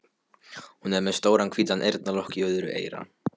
Hún er með stóran hvítan eyrnalokk í öðru eyra.